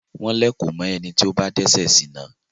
wọ́n lẹ̀kò mọ ẹni tí ó bá dẹ́sẹ̀ sìná.